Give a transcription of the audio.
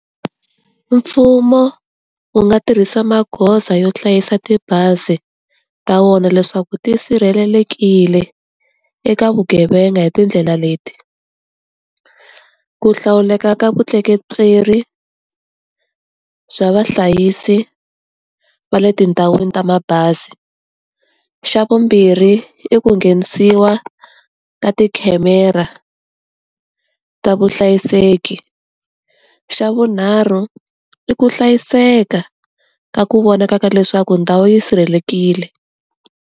Mfumo, wu nga tirhisa magoza yo hlayisa tibazi ta wona leswaku ti sirhelelekile, eka vugevenga hi tindlela leti. Ku hlawuleka ka vutleketli, bya vahlayisi va le tindhawini ta mabazi. Xa vumbirhi i ku nghenisiwa ka ti khamera, ta vuhlayiseki. Xa vunharhu, i ku hlayiseka, ka ku vonaka ka leswaku ndhawu yi sirhelelekile.